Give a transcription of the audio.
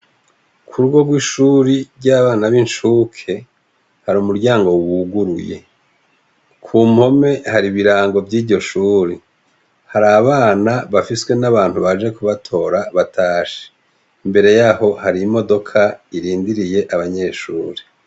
Ku rugo rw'ishuri ry'abana b'inshuke hari umuryango wuguruye. Ku mpome hari ibirango vy'ishuri hari abana bafiswe n'abantu baje kubatora batashi mbere y'aho hari imodoka irindiriye abanyeshuri.